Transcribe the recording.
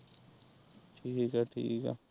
ਠੀਕ ਆ ਠੀਕ ਆ।